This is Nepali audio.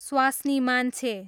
स्वास्नी मान्छे